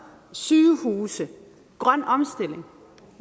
sygehuse en grøn omstilling